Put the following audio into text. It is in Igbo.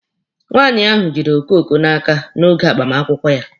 Nwaanyị ahụ jidere okoko n'aka oge agbamakwụkwọ ya.